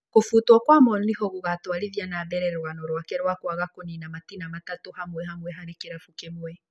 Kũbutwo kwa Morinho gũgatwarithia na mbere rũgano rwake rwa kwaga kũnina matĩna matatũ hamwe hamwe harĩ kĩrabu kĩmwe